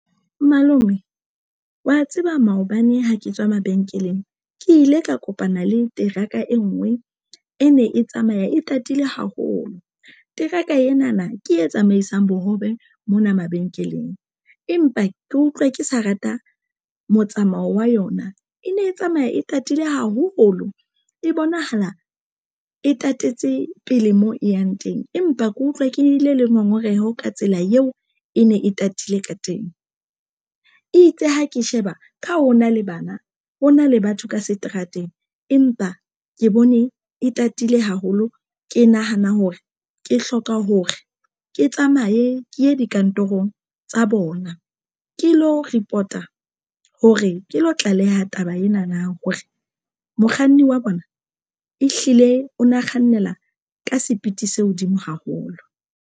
Malome wa tseba maobane ha ke tswa mabenkeleng ke ile ka kopana le teraka e nngwe e ne e tsamaya e tatile haholo teraka ena na ke e tsamaisang bohobe mona mabenkeleng. Empa ke utlwa ke sa rata motsamao wa yona e ne e tsamaya e tatile haholo e bonahala e tatetse pele moo e yang teng empa ke utlwa ke ile le ngongoreho ka tsela eo e ne e tatile ka teng. Itse ha ke sheba ha ho na le bana ho na le batho ka seterateng, empa ke bone e tatile haholo. Ke nahana hore ke hloka hore ke tsamaye ke ye dikantorong tsa bona, ke lo report-a hore ke lo tlaleha taba ena na hore mokganni wa bona ehlile o na kgannela ka sepiti se hodimo haholo.